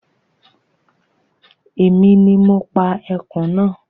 Èmi ni mo pa ẹkùn náà